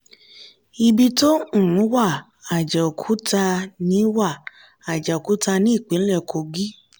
ibi tó um wà: àjàòkúta ní wà: àjàòkúta ní ìpínlẹ̀ kogí